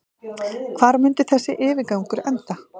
Hvar mundi þessi yfirgangur enda?